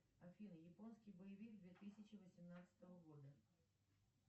афина японский боевик две тысячи восемнадцатого года